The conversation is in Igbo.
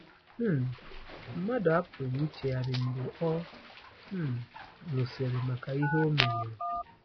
um Mmadụ apụghị ichegharị mgbe ọ um nwụsịrị maka ihe o meworo.